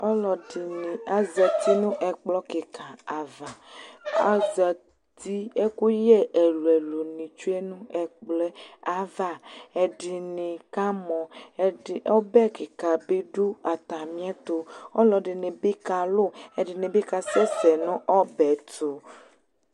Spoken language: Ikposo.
Ɔlɔdɩnɩ azati nʋ ɛkplɔ kɩka ava Azati, ɛkʋyɛ ɛlʋ-ɛlʋnɩ tsue nʋ ɛkplɔ yɛ ava Ɛdɩnɩ kamɔ, ɛdɩ ɔbɛ kɩka bɩ dʋ atamɩɛtʋ Ɔlɔdɩnɩ bɩ kalʋ, ɛdɩnɩ bɩ kasɛsɛ nʋ ɔbɛ yɛ tʋ